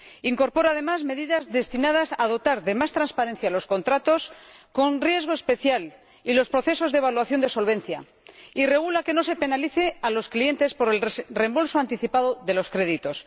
Incorpora, además, medidas destinadas a dotar de más transparencia a los contratos con riesgo especial y a los procesos de evaluación de solvencia, y establece que no se penalice a los clientes por el reembolso anticipado de los créditos.